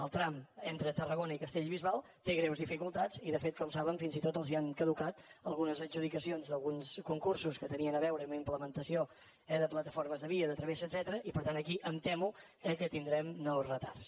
el tram entre tarragona i castellbisbal té greus dificultats i de fet com saben fins i tot els han caducat algunes adjudicacions d’alguns concursos que tenien a veure amb implementació de plataformes de via de travessa etcètera i per tant aquí em temo eh que tindrem nous retards